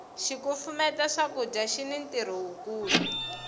xikufumeta swakudya xini ntirho wu kulu